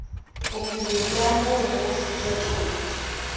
bophelo bja mo bo fetola